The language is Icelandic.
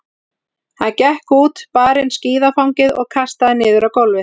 Hann gekk út, bar inn skíðafangið og kastaði niður á gólfið.